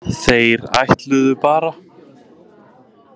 Þeir ætluðu bara.